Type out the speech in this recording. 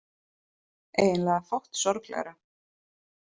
Eiginlega fátt sorglegra.